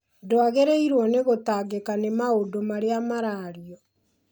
Ndwagĩrĩirũo nĩ gũtangĩka nĩ maũndũ marĩa marario